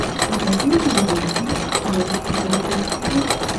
покажи мне видеофильм женский бойцовский клуб